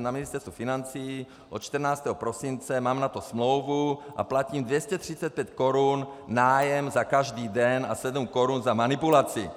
na Ministerstvu financí od 14. prosince, mám na to smlouvu a platím 235 korun nájem za každý den a 7 korun za manipulaci.